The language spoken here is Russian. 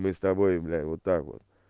мы с тобой блять вот так вот